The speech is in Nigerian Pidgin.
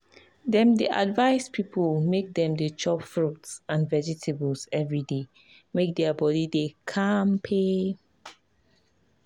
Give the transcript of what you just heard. dem dey advice people make dem dey chop fruit and vegetables every day make their body dey kampe.